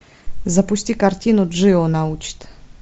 запусти картину джио научит